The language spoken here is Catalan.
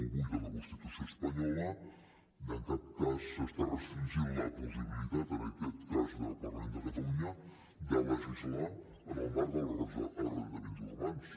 vuit de la constitució espanyola en cap cas s’està restringint la possibilitat en aquest cas del parlament de catalunya de legislar en el marc dels arrendaments urbans